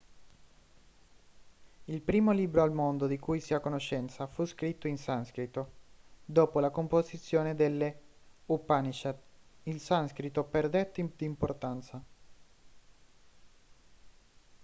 il primo libro al mondo di cui si ha conoscenza fu scritto in sanscrito dopo la composizione delle upanishad il sanscrito perdette di importanza